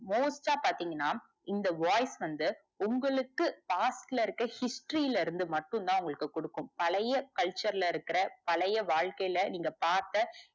most டா பாத்திங்கனா இந்த voice வந்து உங்களுக்கு part ல இருக்கற history ல இருந்து மட்டும் தான் உங்களுக்கு குடுக்கும் பழைய culture ல இருக்க பழைய வாழ்க்கைல நீங்க பாத்தா,